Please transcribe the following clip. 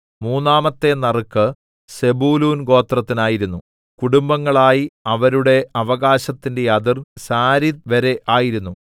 മൂന്നാമത്തെ നറുക്ക് സെബൂലൂൻ ഗോത്രത്തിനായിരുന്നു കുടുംബങ്ങളായി അവരുടെ അവകാശത്തിന്റെ അതിർ സാരീദ് വരെ ആയിരുന്നു